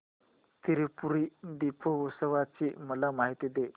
त्रिपुरी दीपोत्सवाची मला माहिती दे